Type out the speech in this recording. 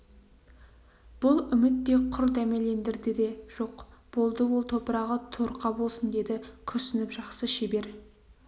бұл үміт те құр дәмелендірді де жоқ болды ол топырағы торқа болсын деді күрсініп жақсы шебер